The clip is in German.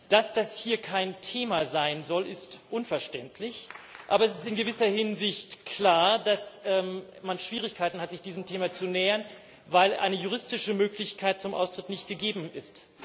Dass das hier kein Thema sein soll, ist unverständlich, aber es ist in gewisser Hinsicht klar, dass man Schwierigkeiten hat, sich diesem Thema zu nähern, weil eine juristische Möglichkeit zum Austritt nicht gegeben ist.